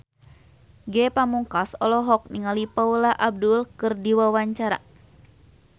Ge Pamungkas olohok ningali Paula Abdul keur diwawancara